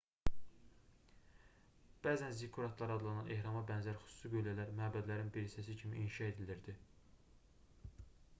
bəzən zikkuratlar adlanan ehrama bənzər xüsusi qüllələr məbədlərin bir hissəsi kimi inşa edilirdi